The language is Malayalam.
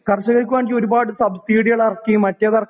കരഷകർക്കാണെങ്കി ഒരുപാട് സബ്‌സിഡികളെറക്കിയും മറ്റേതെറക്കി